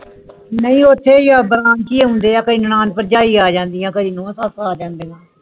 ਨਹੀਂ ਉਥੇ ਆ ਬਰਾਂਚੀ ਆਉਂਦੇ ਕਈ ਨੰਨੜ ਪ੍ਰਜਾਞੀ ਆ ਜਾਂਦੀਆਂ ਕਈ ਨੂੰ